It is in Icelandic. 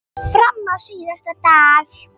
Fram á síðasta dag.